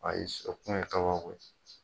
Ayi sɔn kuma in